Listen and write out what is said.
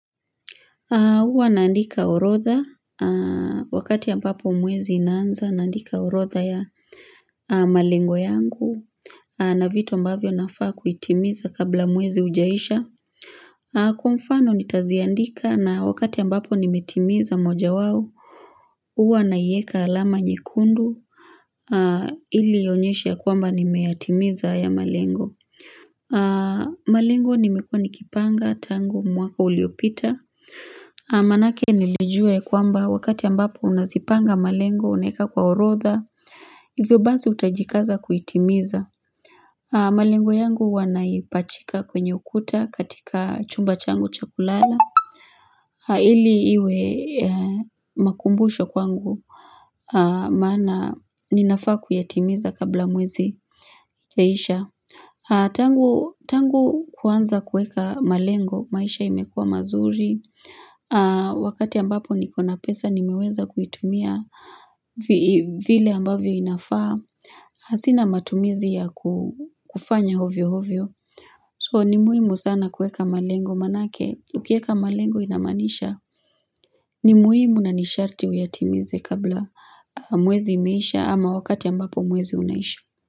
Huwa naandika orotha, wakati ambapo mwezi inaanza, naandika orotha ya malengo yangu, na vitu mbavyo nafaa kuitimiza kabla mwezi ujaisha. Kwa mfano nitaziandika na wakati ambapo nimetimiza moja wao, uwa naieka alama nyekundu, ili ionyeshe kwamba nimeyatimiza haya malengo. Malengo nimekuwa nikipanga, tangu, mwaka uliopita. Manake nilijua ya kwamba wakati ambapo unazipanga malengo unaeka kwa orodha Hivyo basi utajikaza kuitimiza malengo yangu huwa naipachika kwenye ukuta katika chumba changu cha kulala Haili iwe makumbusho kwangu maana ninafaa kuyatimiza kabla mwezi ijaisha tangu Tangu kuanza kuweka malengo maisha imekua mazuri Wakati ambapo nikona pesa nimeweza kuitumia vile ambavyo inafaa Sina matumizi ya kufanya ovyo ovyo So ni muhimu sana kuweka malengo manake Ukieka malengo inamaanisha ni muhimu na ni sharti uyatimize kabla muwezi imeisha ama wakati ambapo mwezi unaisha.